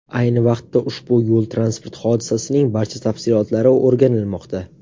Ayni vaqtda ushbu yo‘l-transport hodisasining barcha tafsilotlari o‘rganilmoqda.